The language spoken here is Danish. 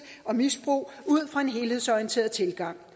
og misbrug ud fra en helhedsorienteret tilgang